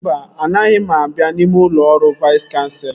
Mba, anaghị m abịa n'ime ụlọ ọrụ Vais Kanselọ